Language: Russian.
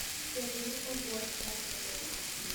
сбер я не могу остаться